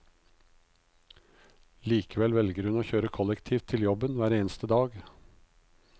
Likevel velger hun å kjøre kollektivt til jobben hver eneste dag.